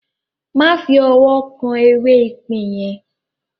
Má fi ọwọ́ kan “ ewé ipín ” yẹn!